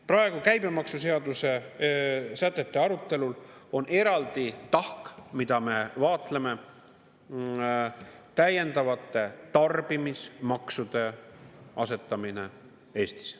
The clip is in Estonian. Praegu käibemaksuseaduse sätete arutelul on eraldi tahk, mida me vaatleme, täiendavate tarbimismaksude asetamine Eestis.